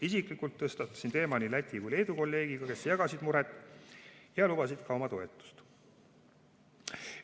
Isiklikult tõstatasin teema nii Läti kui ka Leedu kolleegiga, kes jagasid muret ja lubasid ka oma toetust.